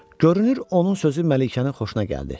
Görünür onun sözü Məlikənin xoşuna gəldi.